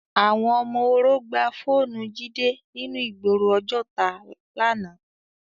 Awòn òmò óró gbá fónù Jide ninú igbóró Ojota làná